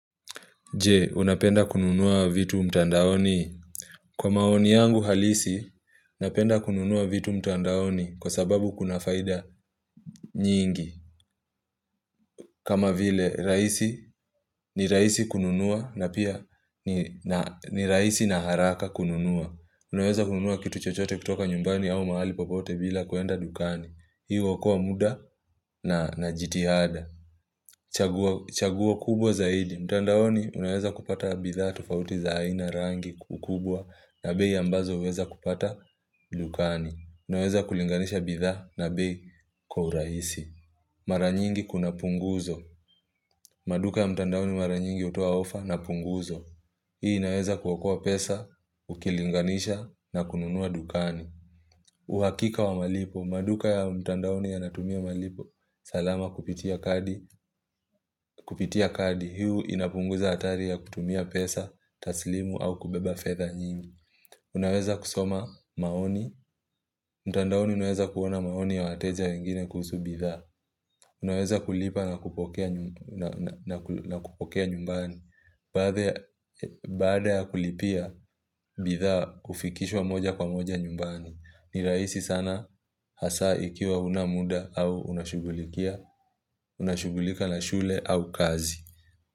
Je, unapenda kununua vitu mtandaoni? Kwa maoni yangu halisi, napenda kununua vitu mtandaoni kwa sababu kuna faida nyingi. Kama vile, ni rahisi kununua na pia ni rahisi na haraka kununua. Unaweza kununua kitu chochote kutoka nyumbani au mahali popote bila kuenda dukani. Hii huokoa muda na jitihada. Chaguo kubwa zaid mtandaoni unaweza kupata bidhaa tofauti za aina rangi ukubwa na bei ambazo uwezi kupata dukani. Unaweza kulinganisha bidhaa na bei kwa uraisi. Mara nyingi kuna punguzo. Maduka ya mtandaoni mara nyingi hutoa ofa na punguzo. Hii inaweza kuokoa pesa, ukilinganisha na kununua dukani. Uhakika wa malipo, maduka ya mtandaoni yanatumia malipo salama kupitia kadi Kupitia kadi, hii inapunguza hatari ya kutumia pesa, taslimu au kubeba fedha nyingi Unaweza kusoma maoni, mtandaoni unaweza kuona maoni ya wateja wengine kuhusu bidhaa Unaweza kulipa na kupokea nyumbani Baada ya kulipia bidhaaa hufikishwa moja kwa moja nyumbani ni rahisi sana hasa ikiwa huna muda au unashugulika na shule au kazi.